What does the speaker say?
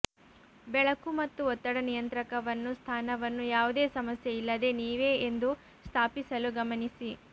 ಬೆಳಕು ಮತ್ತು ಒತ್ತಡ ನಿಯಂತ್ರಕವನ್ನು ಸ್ಥಾನವನ್ನು ಯಾವುದೇ ಸಮಸ್ಯೆ ಇಲ್ಲದೆ ನೀವೇ ಎಂದು ಸ್ಥಾಪಿಸಲು ಗಮನಿಸಿ